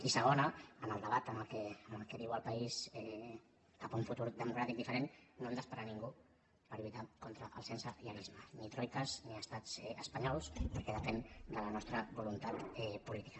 i segona en el debat en què viu el país cap a un futur democràtic diferent no hem d’esperar ningú per lluitar contra el sensellarisme ni troiques ni estats espanyols perquè depèn de la nostra voluntat política